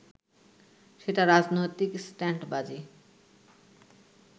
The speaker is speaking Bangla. সেটা রাজনৈতিক স্টান্টবাজি